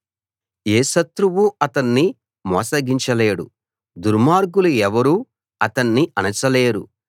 ఏ శత్రువూ అతన్ని మోసగించలేడు దుర్మార్గులు ఎవరూ అతన్ని అణచలేరు